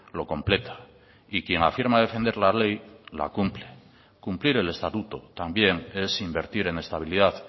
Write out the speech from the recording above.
lo completa y quien afirma defender la ley la cumple cumplir el estatuto también es invertir en estabilidad